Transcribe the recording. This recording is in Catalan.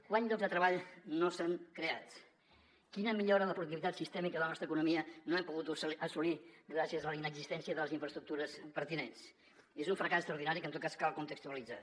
quants llocs de treball no s’han creat quina millora de la productivitat sistèmica de la nostra economia no hem pogut assolir gràcies a la inexistència de les infraestructures pertinents és un fracàs extraordinari que en tot cas cal contextualitzar